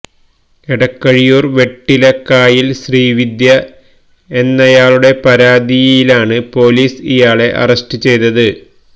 എടക്കഴിയൂര് വെട്ടിലകായില് ശ്രീവിദ്യ എന്നയാളുടെ പരാതിയിലാണ് പോലീസ് ഇയാളെ അറസ്റ്റ് ചെയ്തത്